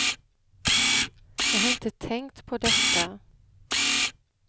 Jag har inte tänkt på detta.